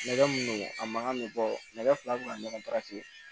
Nɛgɛ min don a man kan bɛ bɔ nɛgɛ fila